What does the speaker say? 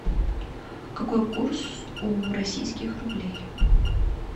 какой курс у российских рублей